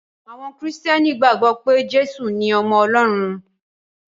Àwọn Kìrìtẹ̀ẹ́nì gbàgbọ́ pé Jésù ni ọmọ Ọlọ́run.